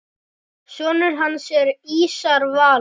Sonur hans er Ísar Valur.